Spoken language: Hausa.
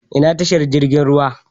Ina tashar jirgin ruwa.